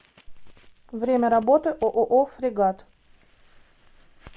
время работы ооо фрегат